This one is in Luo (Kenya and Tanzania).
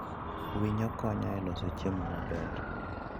Winyo konyo e loso chiemo maber.